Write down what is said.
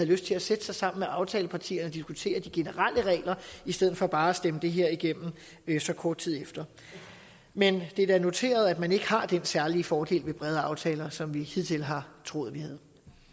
lyst til at sætte sig sammen med aftalepartierne og diskutere de generelle regler i stedet for bare at stemme det her igennem så kort tid efter men det er da noteret at man ikke har den særlige fordel ved brede aftaler som vi hidtil har troet